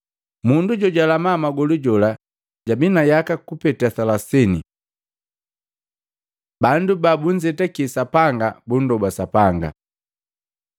Mundu jojalama magolu jola jabii na yaka kupeta alubaini. Bandu babunzetaki Sapanga bunndoba Sapanga